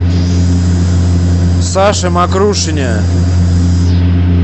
саше мокрушине